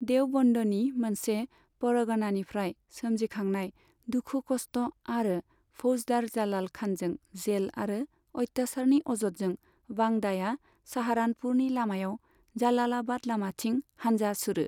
देवबन्दनि मोनसे परगनानिफ्राय सोमजिखांनाय दुखु खस्ट आरो फौजदार जालाल खानजों जेल आरो अत्यासारनि अजदजों, बांदाया साहारानपुरनि लामायाव जालालाबाद लामाथिं हानजा सुरो।